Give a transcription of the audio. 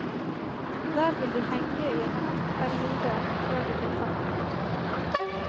Der vil de henge i en kort periode før de blir tatt ned.